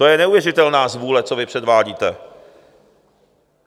To je neuvěřitelná zvůle, co vy předvádíte.